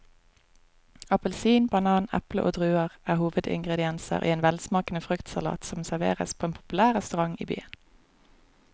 Appelsin, banan, eple og druer er hovedingredienser i en velsmakende fruktsalat som serveres på en populær restaurant i byen.